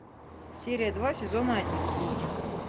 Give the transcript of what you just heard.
серия два сезона один люди